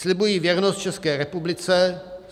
"Slibuji věrnost České republice.